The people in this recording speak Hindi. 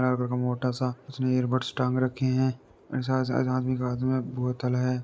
एक मोटा सा उसने ईयर बड्स टांग रखे है ऐसा सा सा आदमी के हाथ में बोतल है।